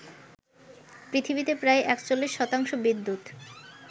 পৃথিবীতে প্রায় ৪১ শতাংশ বিদ্যুত